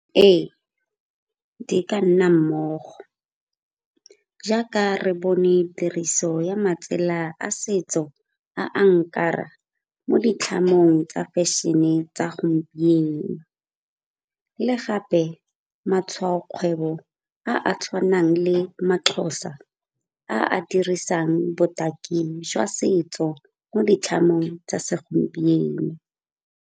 Ee, di ka nna mmogo. Jaaka re bone tiriso ya matsela a setso a a mo ditlhamong tsa fashion-e tsa gompieno le gape matshwaokgwebo a a tshwanang le maXhosa a a dirisang botaki jwa setso mo ditlhatlhobong tsa segompieno.